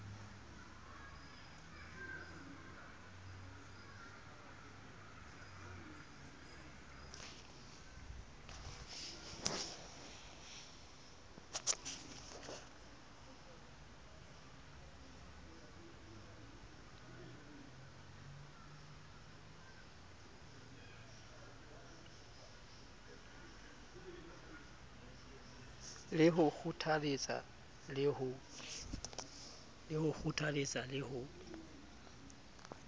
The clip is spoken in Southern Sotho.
ke ho kgothaletsa le ho